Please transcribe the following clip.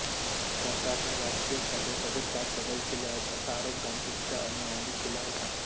सरकारने राजकीय फायद्यासाठी त्यात बदल केले आहेत असा आरोप गांधींच्या अनुयायांनी केला होता